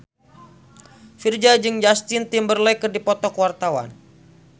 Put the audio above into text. Virzha jeung Justin Timberlake keur dipoto ku wartawan